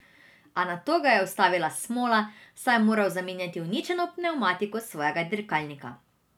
A nato ga je ustavila smola, saj je moral zamenjati uničeno pnevmatiko svojega dirkalnika.